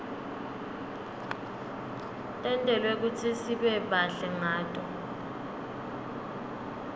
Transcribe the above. tentelwe kutsisibe bahle ngato